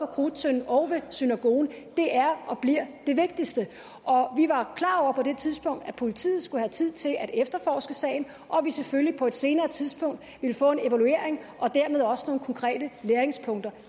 krudttønden og ved synagogen det er og bliver det vigtigste vi var klar over på det tidspunkt at politiet skulle have tid til at efterforske sagen og at vi selvfølgelig på et senere tidspunkt ville få en evaluering og dermed også nogle konkrete læringspunkter